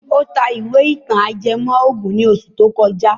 Ó ta ìwé ìtàn ajẹmọ́ ògùn ní oṣù tó kọjá.